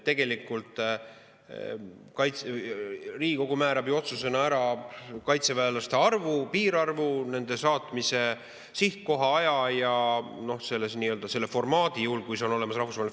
Tegelikult Riigikogu määrab oma otsusena kaitseväelaste arvu, piirarvu, nende saatmise sihtkoha, aja ja selle nii-öelda rahvusvahelise formaadi, juhul kui see on olemas.